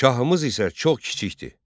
Şahımız isə çox kiçikdir.